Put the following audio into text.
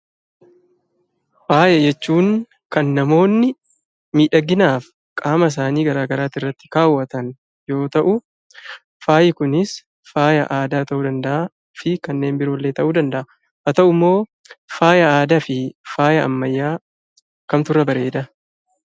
Faaya jechuun kan namoonni miidhaginaaf qaama isaanii garaa garaati irratti kaawwatan yoo ta'u faayi kunis faaya aadaa ta'uu danda'aa fi kanneen biroollee ta'uu danda'a. Haa ta'ummoo faaya aadaa fi faaya ammayyaa kamtu irra bareedaa?